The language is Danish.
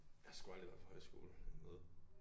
Jeg har sgu aldrig været på højskole eller noget